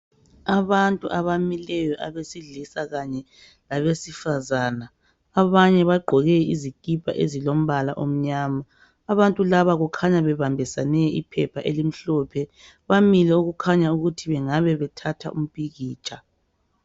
Abantu abamileyo abesilisa Kanye labesifazana abanye bagqoke izikipa ezilombala omnyama abantu laba kukhanya bebambisane iphepha elimhlophe bamile okukhanya ukuthi bengabe bethatha umpikitsha